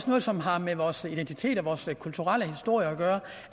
noget som har med vores identitet og vores kulturelle historie at gøre